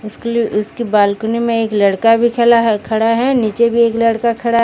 उसकी बालकनी में एक लड़का भी खला है खड़ा नीचे भी एक लड़का खड़ा--